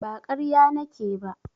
Ba ƙarya nake ba.